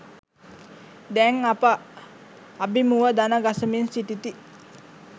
දැන් අප අබිමුව දණගසමින් සිටිති.